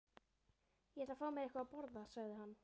Ég ætla að fá mér eitthvað að borða sagði hann.